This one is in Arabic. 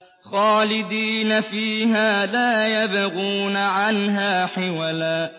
خَالِدِينَ فِيهَا لَا يَبْغُونَ عَنْهَا حِوَلًا